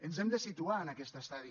ens hem de situar en aquest estadi